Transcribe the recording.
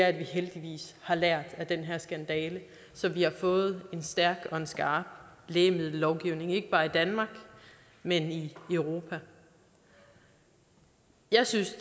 at vi heldigvis har lært af den her skandale så vi har fået en stærk og skarp lægemiddellovgivning ikke bare i danmark men i europa jeg synes